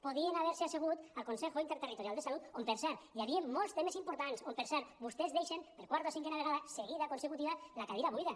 podien haver se assegut al consejo interterritorial de salud on per cert hi havia molts temes importants on per cert vostès deixen per quarta o cinquena vegada seguida consecutiva la cadira buida